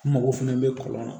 N mago fɛnɛ bɛ kɔlɔn na